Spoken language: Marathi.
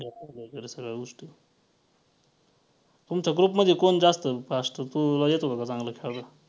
सगळ्या गोष्टी तुमच्या group मध्ये कोण जास्त fast तुला येतं का चांगलं खेळायला?